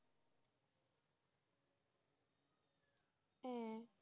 হ্যাঁ